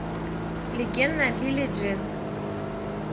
легенда о билли джин